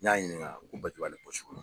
N y'a ɲininka ko batiri b' ale pɔsi kɔnɔ.